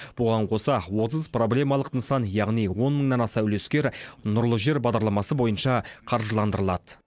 бұған қоса отыз проблемалық нысан яғни он мыңнан аса үлескер нұрлы жер бағдарламасы бойынша қаржыландырылады